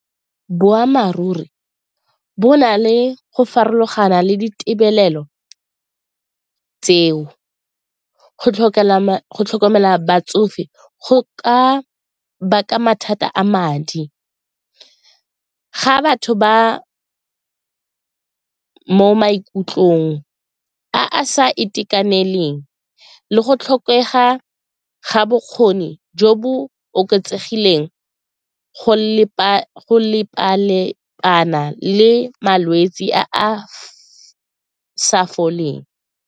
Boammaaruri bo na le go farologana le ditebelelo tseo, go tlhokomela batsofe go ka baka mathata a madi, ga batho ba mo maikutlong a sa itekaneleng le go tlhokega ga bokgoni jo bo oketsegileng le malwetsi a a sa foleng.